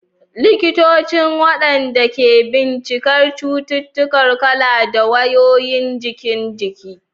Likitocin, waɗanda ke bincikar cututtuka, kula da wayoyin jikin jiki.